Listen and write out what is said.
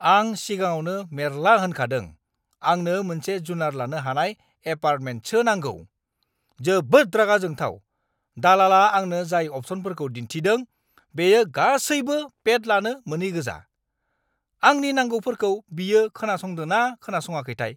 आं सिगाङावनो मेरला होनखादों आंनो मोनसे जुनार लानो हानाय एपार्टमेन्टसो नांगौ। जोबोद रागा जोंथाव, दलाला आंनो जाय अपसनफोरखौ दिन्थिदों बेयो गासैबो पेट लानो‌ मोनैगोजा। आंनि नांगौफोरखौ बियो खोनासंदोंना ना खोनासङाखैथाय।